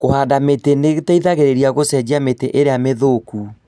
Kũhanda mĩtĩ nĩteithagĩrĩria gũcenjia mĩtĩ ĩrĩa mĩthũku